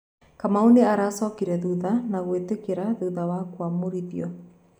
Kamau nĩ aracokire thutha na gwĩtĩkĩra thutha wa kũamũrithio